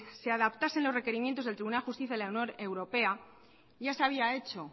se adaptasen los requerimientos del tribunal de justicia de la unión europea ya se había hecho